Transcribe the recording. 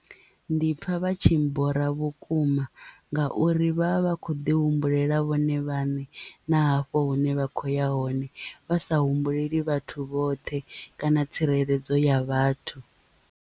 Ndi pfha vha tshi bora vhukuma ngauri vha vha vha kho ḓi humbulela vhone vhaṋe na hafho hune vha khoya hone vha sa humbuleli vhathu vhoṱhe kana tsireledzo ya vhathu.